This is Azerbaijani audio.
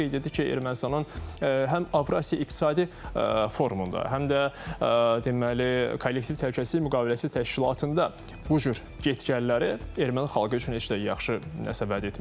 Qeyd etdi ki, Ermənistanın həm Avrasiya İqtisadi Forumunda, həm də deməli, Kollektiv Təhlükəsizlik Müqaviləsi Təşkilatında bu cür get-gəlləri erməni xalqı üçün heç də yaxşı nəsə vəd etmir.